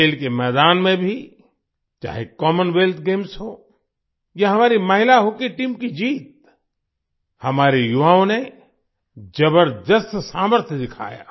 खेल के मैदान में भी चाहे कॉमनवेल्थ गेम्स हो या हमारी महिला हॉकी टीम की जीत हमारे युवाओं ने जबरदस्त सामर्थ्य दिखाया